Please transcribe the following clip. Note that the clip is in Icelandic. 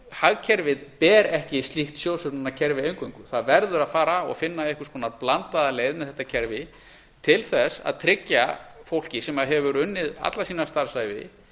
hagkerfið ber ekki slíkt sjóðsöfnunarkerfi eingöngu það verður að fara og finna einhvers konar blandaða leið með þetta kerfi til þess að tryggja fólki sem hefur unnið alla sína starfsævi